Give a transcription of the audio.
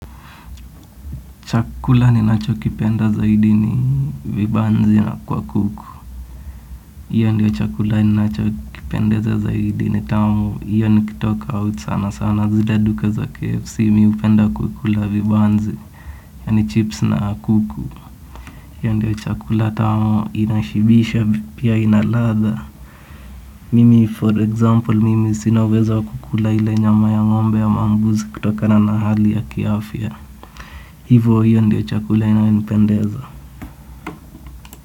Chakula ninacho kipenda zaidi ni vibanzi na kwa kuku. Hiyo ndiyo chakula ninacho kipendeza zaidi ni tamu hiyo nikitoka au sana sana zile duka za KFC mimi hupenda kukula vibanzi. Yaani chips na kuku. Hiyo ndiyo chakula tamu inashibisha pia ina ladha. Mimi for example mimi sina uwezo wa kukula nyama ya ng'ombe au mbuzi kutokana na hali ya kiafya. Hivo hiyo ndiyo chakula inayonipendeza.